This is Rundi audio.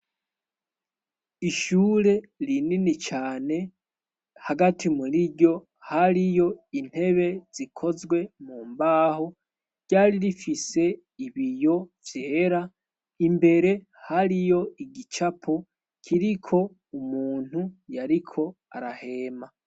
Ishure rinini cane hagati muriryo hariyo intebe zikozwe mu mbaho ryari rifise ibiyo vyera imbere hariyo igicapo kiriko umuntu yariko arahema.